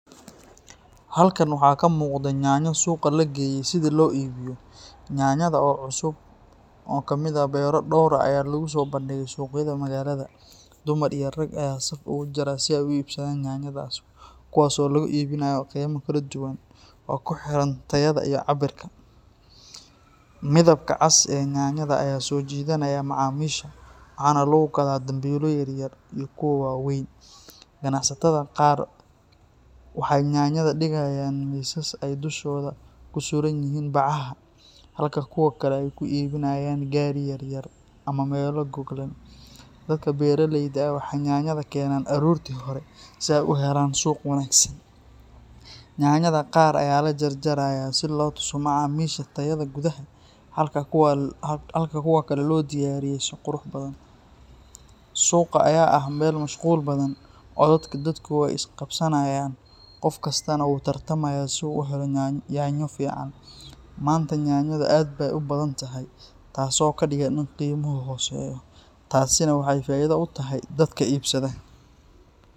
Halkan waxaa ka muuqda yanyo suuqa la geeyey sidii loo iibiyo. Yanyada oo cusub oo ka yimid beero dhowr ah ayaa lagu soo bandhigay suuqyada magaalada. Dumar iyo rag ayaa saf ugu jira si ay u iibsadaan yanyadaas, kuwaasoo lagu iibinayo qiime kala duwan oo ku xiran tayada iyo cabbirka. Midabka cas ee yanyada ayaa soo jiidanaya macaamiisha, waxaana lagu gadaa dambiilo yar yar iyo kuwo waaweyn. Ganacsatada qaar waxay yanyada dhigayaan miisas ay dushooda ku sudhan yihiin bacaha, halka kuwo kale ay ku iibinayaan gaari yar yar ama meelo goglan. Dadka beeraleyda ah waxay yanyada keenaan aroortii hore si ay u helaan suuq wanaagsan. Yanyada qaar ayaa la jarjarayaa si loogu tuso macaamiisha tayada gudaha, halka kuwa kale loo diyaariyay si qurux badan. Suuqa ayaa ah meel mashquul badan, codadka dadku way is qabsanayaan, qof kastana wuu tartamayaa si uu u helo yanyo fiican. Maanta yanyadu aad bay u badan tahay, taasoo ka dhigan in qiimuhu hooseeyo, taasina waxay faa’iido u tahay dadka iibsada.